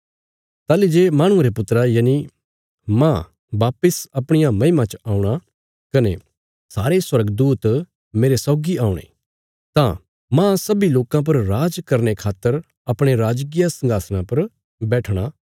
ताहली जे माहणुये रे पुत्रा यनि मांह वापस अपणिया महिमा च औणा कने सारे स्वर्गदूत मेरे सौगी औणे तां मांह सब्बी लोकां पर राज करने खातर अपणे राजकीय संघासणा पर बैठणा